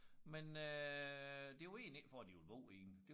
Men øh det var egentlig ikke for at de ville bo i den